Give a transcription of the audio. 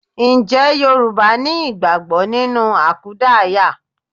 Ǹjẹ́ Yorùbá ni ìgbàgbọ́ nínú àkúdaaya?